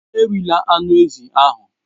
Erila anụ ezi ahụ!